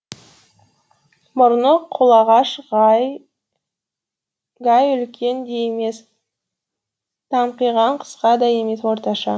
мұрны қолағаш гай үлкен де емес таңқиған қысқа да емес орташа